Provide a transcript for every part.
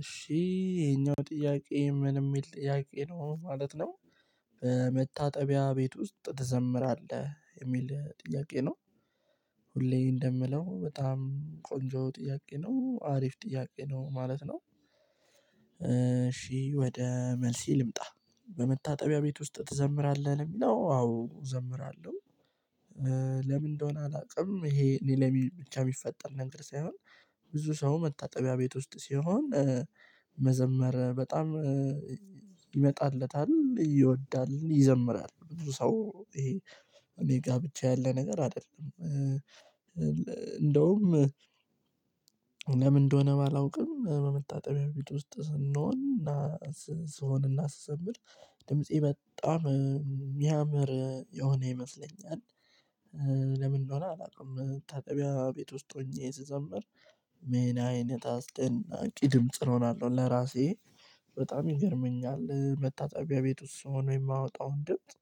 እሺ ይሄኛው ጥያቄ ምን የሚል ጥያቄ ነው አሁን ማለት ነው። በመታጠቢያ ቤት ውስጥ ትዘምራለህ የሚል ጥያቄ ነው? ሁሌ እንደምለው በጣም ቆንጆ ጥያቄ ነው አሪፍ ጥያቄ ነው ማለት ነው። እሺ ወደ መልሴ ልምጣ። በመታጠቢያ ቤት ውስጥ ትዘምራለህ ለሚለው አዎ እዘምራለሁ። ለምን እንደሆነ አላቅም ይሄ እኔ ላይ ብቻ የሚፈጠር ነገር ሳይሆን። ብዙ ሰው መታጠቢያ ቤት ውስጥ ሲሆን። መዘመር በጣም ይመጣለታል ይወዳልን ይዘምራል ብዙ ሰው ይሄ እኔ ጋር ብቻ ያለ ነገር አይደለም። እንደውም ለምን እንደሆነ ባላውቅም በመታጠቢያ ቤት ውስጥ ስንሆን እና ሰሆን አና ስዘምር ድምፄ በጣም የሚያምር የሆነ ይመስለኛል። ለምን እንደሆነ አላውቅም። መታጠቢያ ቤት ውስጥ ሆኜ ስዘምር ምን አይነት አስደናቂ ድምጽ እሆናለሁ ለራሴ በጣም ይገርመኛል። መታጠቢያ ቤት ውስጥ ሆኖ የማወጣውን ድምጽ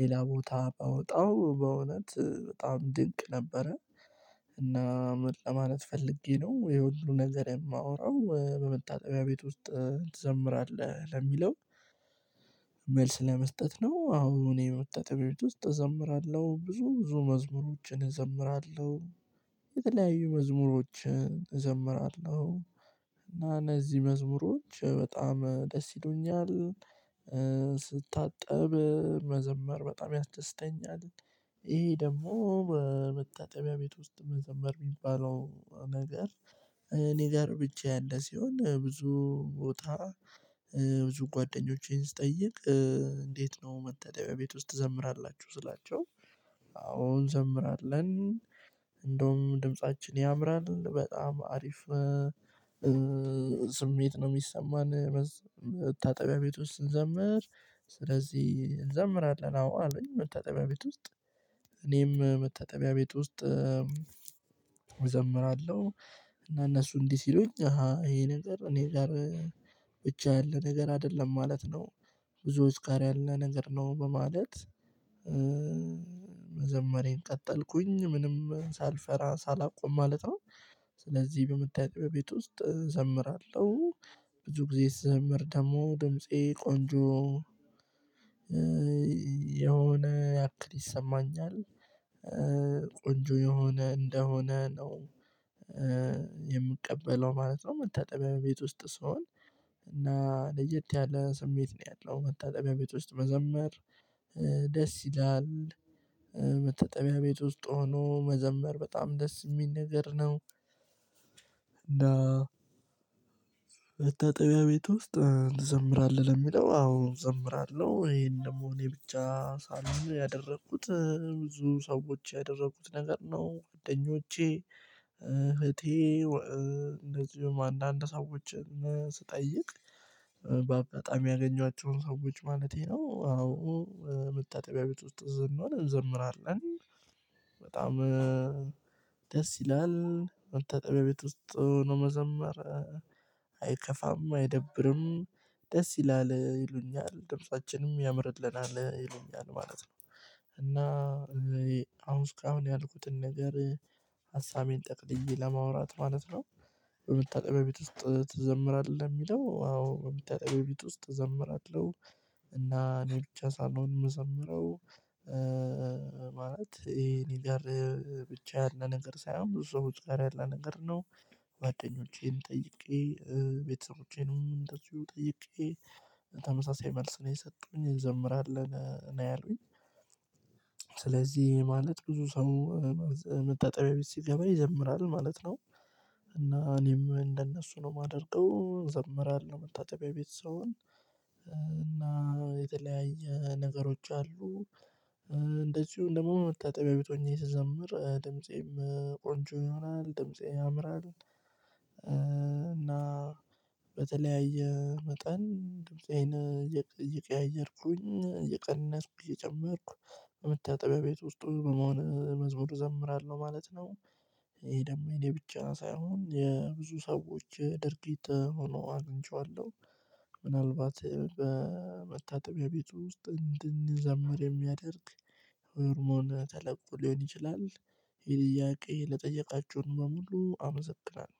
ሌላ ቦታ ባወጣው በእውነት በጣም ድንቅ ነበረ። እና ምን ለማለት ፈልጌ ነው ይሄ ሁሉ ነገር የማወራው በመታጣቢያ ቤት ውስጥ ትዘምራለህ ለሚለው? መልስ ለመስጠት ነው አዎ እኔ ወጣት ቤት ውስጥ እዘምራለሁ ብዙ ብዙ መዝሙሮችን እዘምራለሁ። የተለያዩ መዝሙሮችን እዘምራለሁ። እና እነዚህ መዝሙሮች በጣም ደስ ይሉኛል። ስታጠብ መዘመር በጣም ያስደስተኛል። ይሄ ደግሞ በመታጠቢያ ቤት ውስጥ መዘመር የሚባለው ነገር። እኔ ጋር ብቻ ያለ ሲሆን ብዙ ቦታ ብዙ ጓደኞቼን ስጠይቅ። እንዴት ነው መታጠቢያ ቤት ውስጥ ትዘምራላችሁ ስላቸው? አዎ እንዘምራለን። እንደውም ድምፃችን ያምራል በጣም አሪፍ። ስሜት ነው የሚሰማን። መታጠቢያ ቤት ውስጥ ስንዘምር። ስለዚህ እንዘምራለን አዎ አለኝ መታጠቢያ ቤት ውስጥ። እኔም መታጠቢያ ቤት ውስጥ እዘምራለሁ። እና እነሱ እንዲህ ሲሉኝ አሃ ይሄ ነገር እኔ ጋር ብቻ ያለ ነገር አይደለም ማለት ነው። ብዙዎች ጋር ያለ ነገር ነው በማለት። መዘመሬን ቀጠልኩኝ ምንም ሳልፈራ ሳላቆም ማለት ነው። ስለዚህ በመታጠብያ ቤት ውስጥ እዘምራለሁ። ብዙ ጊዜ ስዘምር ደግሞ ድምፄ ቆንጆ የሆነ ያክል ይሰማኛል። ቆንጆ የሆነ እንደሆነ ነው። የምቀበለው ማለት ነው። መታጠቢያ ቤት ውስጥ ስሆን። እና ለየት ያለ ስሜት ነው ያለው መታጠቢያ ቤት ውስጥ መዘመር ደስ ይላል። መታጠቢያ ቤት ውስጥ ሆኖ መዘመር በጣም ደስ ሚል ነገር ነው። እና በታጠቢያ ቤት ውስጥ ትዘምራለህ? ለሚለው አዎ እዘምራለሁ ይሄን ደግሞ እኔ ብቻ ሳልሆን ያደረኩት ብዙ ሰዎች ያደረኩት ነገር ነው ጓደኞቼ። እህቴ እንደዚሁም አንዳንድ ሰዎችን ስጠይቅ በአጋጣሚ ያገኟቸውን ሰዎች ማለቴ ነው። አዎ መታጠቢያ ቤት ውስጥ ስንሆን እንዘምራለን። በጣም ደስ ይላል። መታጠብያ ቤት ውስጥ ለመዘመር። አይከፋም አይደብርም ደስ ይላል ይሉኛል ድምጻችንም ያምርልናል ይሉኛል ማለት ነው። እና አሁን እስካሁን ያልኩትን ነገር ሀሳቤን ጠቅልዬ ለማውራት ማለት ነው። በመታጠብያ እቤት ውስጥ ትዘምራለህ? የሚለው አዎ በመታጠብያ እቤት ውስጥ እዘምራለሁ። እና እኔ ብቻ ሳልሆን እምዘምረው ማለት ይሄ እኔ ጋር ብቻ ያለ ነገር ሳይሆን ብዙ ሰዎች ጋር ያለ ነገር ነው። ጋደኞቼን ጠይቄ ቤተሰቦቼንም እንደዚሁ ጠይቄ ተመሳሳይ መልስ ነው የሰጡኝ እንዘምራለን ነው ያሉኝ። ስለዚህ ማለት ብዙ ሰው መታጠቢያ ቤት ሲገባ ይዘምራል ማለት ነው። እና እኔም እንደነሱ ነው የማደርገው ዘምራለው መታጠቢያ ቤት ስሆን። እና የተለያየ ነገሮች አሉ። እንደዚሁም ደግሞ መታጠቢያ ቤት ሆኜ ስዘምር ድምፄም ቆንጆ ይሆናል ድምፄ ያምራል። እና በተለያየ መጠን ድምፄን እየቀያየርኩኝ እየቀነስኩኝ እየጨመርኩ በመታጠቢያ ቤት ውስጥ በመሆን መዝሙር እዘምራለሁ ማለት ነው። ይሄ ደግሞ የብቻ ሳይሆን የብዙ ሰዎች ድርጊት ሆኖ አግንቼዋለሁ። ምናልባት በመታጠቢያ ቤት ውስጥ እንድንዘምር የሚያደርግ ሆርሞን ተለቆ ሊሆን ይችላል። ይህን ጥያቄ ለጠየቃችሁን በሙሉ አመዘግለው።